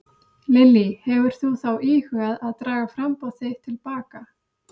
Lillý: Hefur þú þá íhugað að draga framboð þitt til baka?